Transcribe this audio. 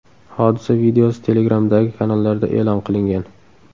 Hodisa videosi Telegram’dagi kanallarda e’lon qilingan .